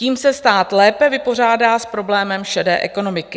Tím se stát lépe vypořádá s problémem šedé ekonomiky.